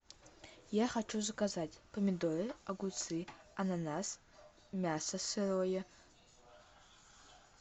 я хочу заказать помидоры огурцы ананас мясо сырое